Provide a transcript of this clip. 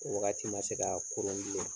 Wagati ma se k'a koron bilen.